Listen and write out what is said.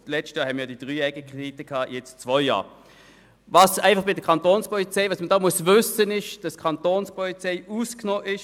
Man muss wissen, dass die Kantonspolizei (Kapo) im Gegensatz zu den anderen Informatikprojekten von der Zentralisierung ausgenommen ist.